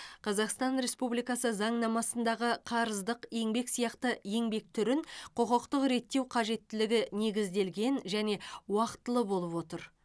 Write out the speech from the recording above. қазақстан республикасы заңнамасындағы қарыздық еңбек сияқты еңбек түрін құқықтық реттеу қажеттілігі негізделген және уақытылы болып отыр